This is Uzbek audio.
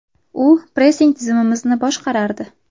U pressing tizimimizni boshqardi.